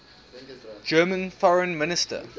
german foreign minister